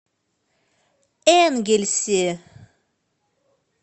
энгельсе